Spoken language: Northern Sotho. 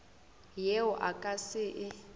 yeo a ka se e